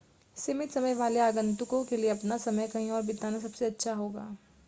सीमित समय वाले आगंतुकों के लिए अपना समय कहीं और बिताना सबसे अच्छा होगा